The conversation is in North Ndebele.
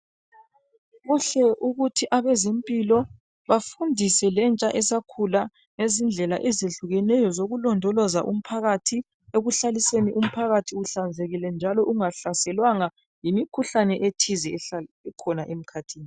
Kuhle ukuthi abezempilo, bafundise lentsha esakhula. Ngezindlela ezehlukeneyo, zokulondoloza umphakathi ekuhlaliseni umphajathi uhlanzekile, njalo ungahlaselwanga yimikhuhlane ethize ehlala ikhona emkhathini.